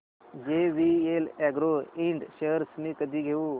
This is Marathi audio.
जेवीएल अॅग्रो इंड शेअर्स मी कधी घेऊ